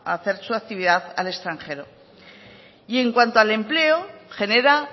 hacer su actividad al extranjero y en cuanto al empleo genera